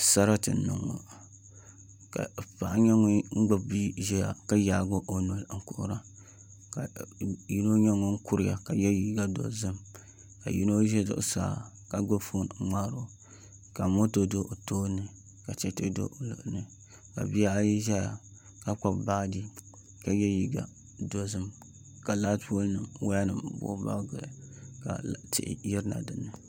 Sarati n niŋ ŋo ka paɣa nyɛ ŋun gbubi bia ʒiya ka yaagi o noli n kuhura ka yino nyɛ ŋun kuriya ka yɛ liiga dozim ka yino ʒɛ zuɣusaa ka gbubi foon n ŋmaaro ka moto do o tooni ka chɛchɛ do o luɣuli ni ka bihi ayi ʒɛya ka gbubi baaji ka yɛ liiga dizim ka laati pool nim ʒɛya ka tihi yirina dinni